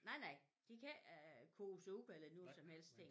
Nej nej de kan ikke øh koge supper eller noget som helst ting